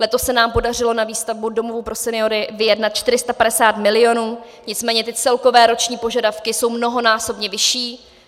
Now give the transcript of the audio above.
Letos se nám podařilo na výstavbu domovů pro seniory vyjednat 450 milionů, nicméně ty celkové roční požadavky jsou mnohonásobně vyšší.